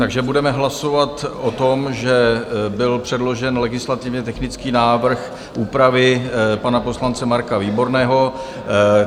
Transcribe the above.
Takže budeme hlasovat o tom, že byl předložen legislativně technický návrh úpravy pana poslance Marka Výborného.